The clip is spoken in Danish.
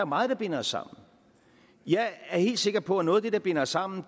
meget der binder os sammen jeg er helt sikker på at noget af det der binder os sammen